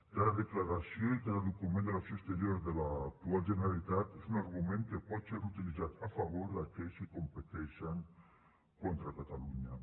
cada declaració i cada document de l’acció exterior de l’actual generalitat és un argument que pot ser utilitzat a favor d’aquells que competeixen contra catalunya